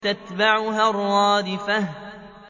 تَتْبَعُهَا الرَّادِفَةُ